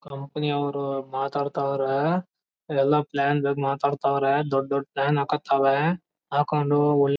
company ಅವರು ಮಾತಾಡ್ತವರೇ ಎಲ್ಲ ಪ್ಲಾನ್ಡ್ ಆಗಿ ಮಾತಾಡ್ತವ್ರೆ ದೊಡ್ಡ್ ದೊಡ್ಡ್ ಪ್ಲಾನ್ ಹಾಕೊತಾವೆ ಹಾಕೊಂಡ್--